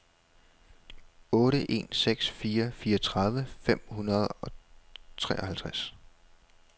otte en seks fire fireogtredive fem hundrede og treoghalvtreds